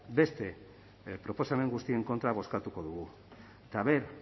beste proposamen guztien kontra bozkatuko dugu eta aber